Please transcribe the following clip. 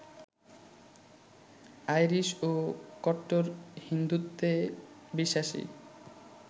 Irish ও কট্টর হিন্দুত্বে বিশ্বাসী